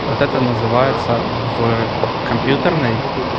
вот это называется в компьютерной